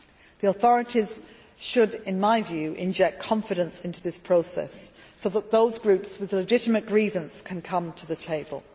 The authorities should, in my view, inject confidence into this process so that those groups with a legitimate grievance can come to the table.